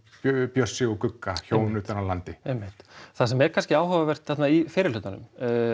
Bjössi og Gugga hjón utan af landi einmitt það sem er kannski áhugavert þarna í fyrri hlutanum